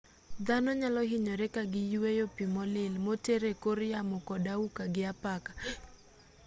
dhano nyalohinyore kagiyueyo pii molil moter ekor yamo kod auka gi apaka